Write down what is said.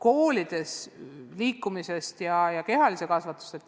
Koolidega seotud liikumisest ja kehalisest kasvatusest.